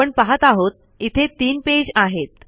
आपण पाहत आहोत इथे ३ पेज आहेत